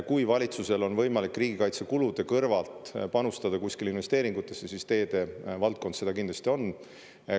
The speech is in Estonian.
Kui valitsusel on võimalik riigikaitsekulude kõrvalt panustada investeeringutesse, siis teede valdkond seda kindlasti on.